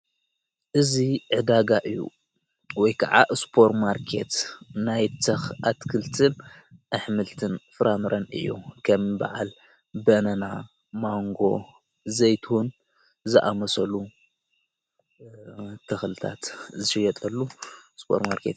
እዙ ዕዳጋ እዩ ወይ ከዓ ስፖር ማርኬት ናይ ኣትክልትን ኣኅምልትን ፍራምረን እዮ ከም በዓል በነና ማንጎ ዘይቴን ዝኣመሰሉ ተኽልታት ዝሸየጠሉ ስጶር ማርከት እዩ።